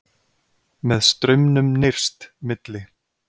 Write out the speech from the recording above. Með straumnum nyrst, milli